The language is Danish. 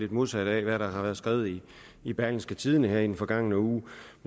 det modsatte af hvad der har været skrevet i i berlingske tidende i den forgangne uge